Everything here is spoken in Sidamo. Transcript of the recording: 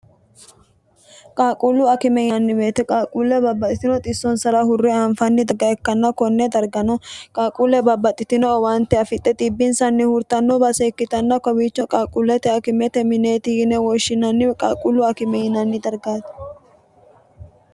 qaaquullu akime yinanni woyte meete qaaquulle babbaxxitino xissonsara hurre aanfanni dagga ikkanno konne dargano qaaquulle babbaxxitino owaante afixxe xiibbinsanni hurtanno baase ikkitanna kowiicho qaaquullete akimete mineeti yine woshshinannie qaaquullu akime yinanni dargaate